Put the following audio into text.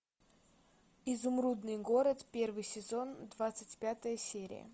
изумрудный город первый сезон двадцать пятая серия